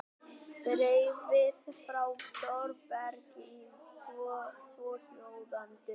Bréfið frá Þórbergi er svohljóðandi